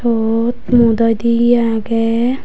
iyot mu doidey ye agey.